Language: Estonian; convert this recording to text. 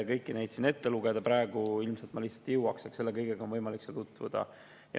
Kõiki neid ei jõuaks ma siin ilmselt praegu lihtsalt ette lugeda, nendega on võimalik seal tutvuda.